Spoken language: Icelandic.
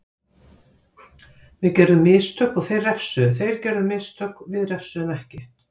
Við gerðum mistök og þeir refsuðu, þeir gerðu mistök við refsuðum ekki.